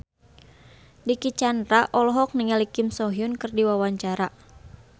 Dicky Chandra olohok ningali Kim So Hyun keur diwawancara